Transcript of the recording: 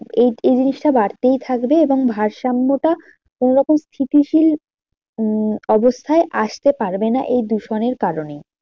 এই এই জিনিসটা বাড়তেই থাকবে এবং ভারসাম্যটা কোনো রকম স্থিতিশীল উম অবস্থায় আসতে পারবে না এই দূষণের কারণেই।